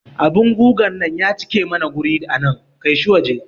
Abun gugan nan ya cike mana wuri anan, kaishi waje